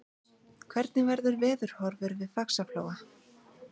hvernig verður veðurhorfur við faxaflóa